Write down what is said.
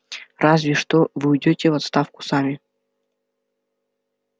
разве что вы уйдёте в отставку сами